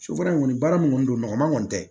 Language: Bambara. Sufɛla in kɔni baara min kɔni don nɔgɔman kɔni tɛ